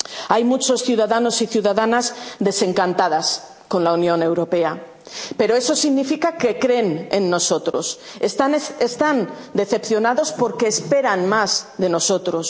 europea. Hay muchos ciudadanos y ciudadanas desencantadas con la Unión Europea, pero eso significa que creen en nosotros están decepcionados porque esperan más de